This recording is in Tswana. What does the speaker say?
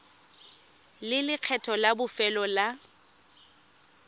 le lekgetho la bofelo la